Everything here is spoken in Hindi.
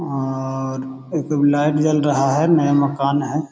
और एक लाइट जल रहा है। नया मकान है।